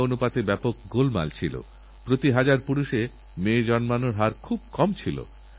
বাচ্চাদের প্রতি বিশেষভাবে মনোযোগ দিন আর এই যে ভুলধারণা আছে না যে ডেঙ্গু শুধু গরীব বস্তিতেই হয় তা কিন্তু ঠিক নয়